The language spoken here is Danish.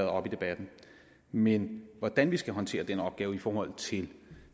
oppe i debatten men hvordan vi skal håndtere den opgave i forhold til